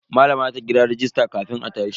Malama za ta kira rajista kafin a tashi.